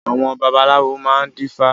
Àwọn babaláwo máa ń dífá